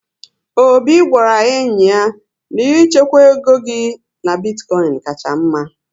Obi gwara enyi ya na Ị chekwaa égo gị na bitkoin kacha mma